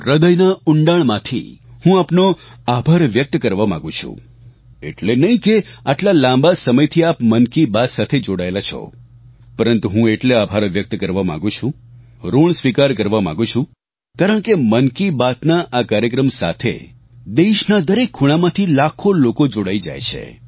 હ્રદયના ઊંડાણમાંથી હું આપનો આભાર વ્યક્ત કરવા માગું છું એટલે નહીં કે આટલા લાંબા સમયથી આપ મન કી બાત સાથે જોડાયેલા છો પરંતુ હું એટલે આભાર વ્યક્ત કરવા માગું છું ઋણ સ્વીકાર કરવા માગું છું કારણ કે મન કી બાત ના આ કાર્યક્રમ સાથે દેશના દરેક ખૂણામાંથી લાખો લોકો જોડાઈ જાય છે